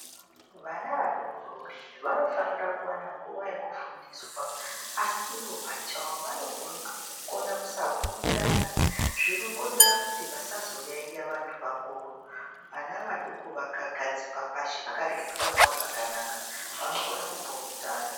Vana vadori dori vanofanira kuwana nguwa yekufundiswa, asi iwo pachawo vanokona kusapurutana zvinokonzera kuti vasazoyaiye vantu vakuru. Vana vadoko vakagadzikwa pashi vakareketwa nawo zvakanaka, vanokona kupurutana.